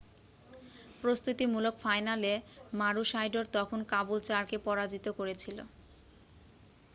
প্রস্তুতিমূলক ফাইনালে মারুশাইডোর তখন কাবুলচারকে পরাজিত করেছিল